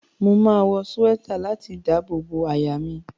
Máa wọ súwẹ́tà láti dábò bo àyà mi.